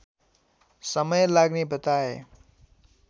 समय लाग्ने बताए